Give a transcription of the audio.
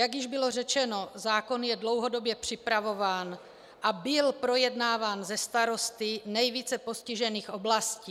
Jak již bylo řečeno, zákon je dlouhodobě připravován a byl projednáván se starosty nejvíce postižených oblastí.